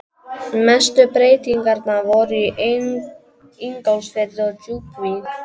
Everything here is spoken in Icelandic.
Mestu breytingarnar voru í Ingólfsfirði og Djúpuvík.